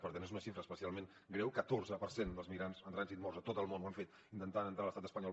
per tant és una xifra especialment greu catorze per cent dels migrants en trànsit morts a tot el món ho han fet intentant entrar a l’estat espanyol